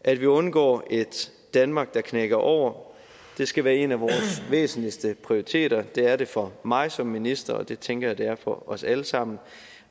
at vi undgår et danmark der knækker over skal være en af vores væsentligste prioriteter det er det for mig som minister og det tænker jeg at det er for os alle sammen